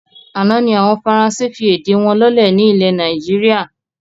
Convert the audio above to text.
Àná ni àwọn Faransé fi èdè wọn lọ́lẹ̀ ni ilẹ̀ Nàìjíríà